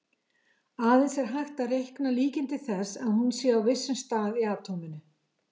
Aðeins er hægt að reikna líkindi þess að hún sé á vissum stað í atóminu.